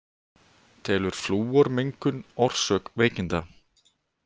Telur flúormengun orsök veikinda